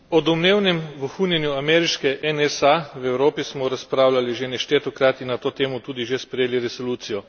O domnevnem vohunjenju ameriške NSA v Evropi smo razpravljali že neštetokrat in na to temo tudi že sprejeli resolucijo.